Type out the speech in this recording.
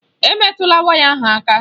Emetụla waya ahụ aka!